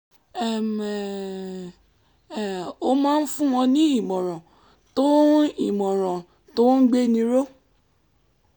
um ó máa ń fún wọn ní ìmọ̀ràn tó ń ìmọ̀ràn tó ń gbéni ró